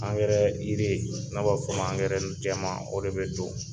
Angɛrɛ yiri, n'a b'a fɔ ma angɛrɛ jɛman, o de be don.